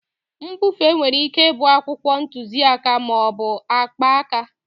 Mbufe nwere ike ịbụ akwụkwọ ntuziaka ma ọ bụ akpaaka.